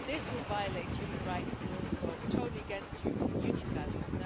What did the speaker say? This would violate human rights and it would also go totally against European Union values.